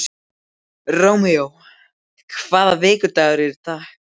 Rómeó, hvaða vikudagur er í dag?